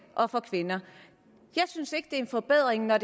og for kvinder jeg synes ikke det er en forbedring når